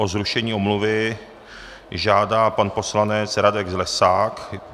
O zrušení omluvy žádá pan poslanec Radek Zlesák.